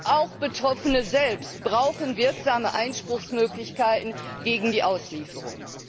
Und auch Betroffene selbst brauchen wirksame Einspruchsmöglichkeiten gegen die Auslieferung.